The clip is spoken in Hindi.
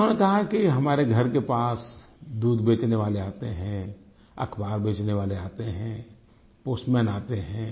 उन्होंने कहा है कि हमारे घर के पास दूध बेचने वाले आते हैं अख़बार बेचने वाले आते हैं पोस्टमैन आते हैं